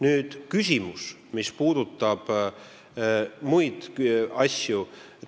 Nüüd see, mis puudutab muid asju.